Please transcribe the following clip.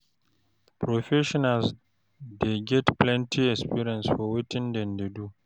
Professionals dey get plenty experience for wetin dem dey do